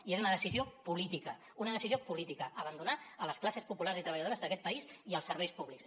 i és una decisió política una decisió política abandonar les classes populars i treballadores d’aquest país i els serveis públics